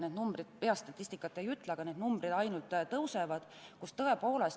Ma peast statistikat ei ütle, aga need arvud ainult kasvavad.